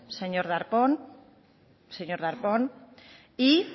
señor darpón señor darpón y